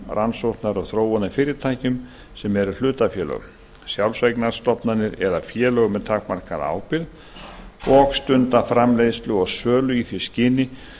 rannsóknar og þróunarfyrirtækjum sem eru hlutafélög sjálfseignarstofnanir eða félög með takmarkaða ábyrgð og stunda framleiðslu og sölu í því skyni